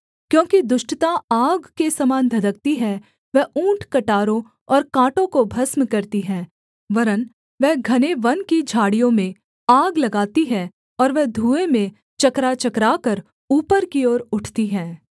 क्योंकि दुष्टता आग के समान धधकती है वह ऊँटकटारों और काँटों को भस्म करती है वरन् वह घने वन की झाड़ियों में आग लगाती है और वह धुएँ में चकराचकराकर ऊपर की ओर उठती है